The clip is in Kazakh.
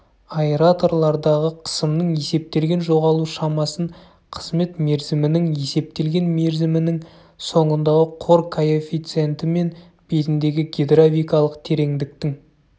аэраторлардағы қысымның есептелген жоғалу шамасын қызмет мерзімінің есептелген мерзімінің соңындағы қор коэффициентімен бетіндегі гидравликалық тереңдіктің